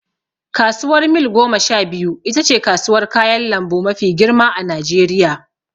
Kasuwar Mil goma sha biyu itace kasuwar kayan lambu mafi girma a najeriya